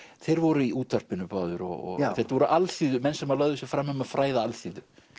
þeir voru í útvarpinu báðir og þetta voru alþýðumenn sem lögðu sig fram um að fræða alþýðu